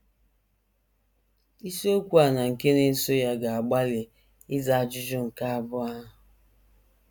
Isiokwu a na nke na - eso ya ga - agbalị ịza ajụjụ nke abụọ ahụ.